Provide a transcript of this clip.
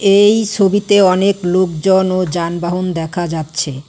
এই ছবিতে অনেক লোকজন ও যানবাহন দেখা যাচ্ছে।